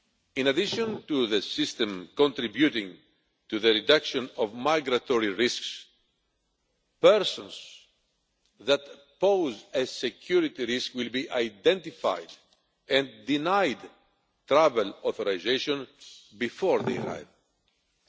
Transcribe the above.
In addition to the system contributing to the reduction of migratory risks, persons that pose a security risk will be identified and denied travel authorisation before they arrive.